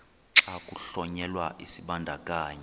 xa kuhlonyelwa isibandakanyi